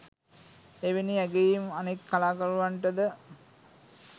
එවැනි ඇගයීම් අනෙක් කලාකරුවන්ටද